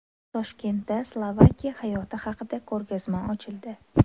Toshkentda Slovakiya hayoti haqida ko‘rgazma ochildi.